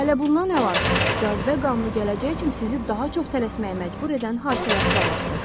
Hələ bundan əlavə, cazibə qanunu gələcək üçün sizi daha çox tələsməyə məcbur edən hadisələr planlaşdıracaq.